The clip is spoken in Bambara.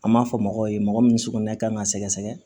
An b'a fɔ mɔgɔw ye mɔgɔ min sugunɛ kan ka sɛgɛsɛgɛ